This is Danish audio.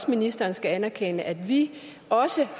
ministeren skal anerkende at vi også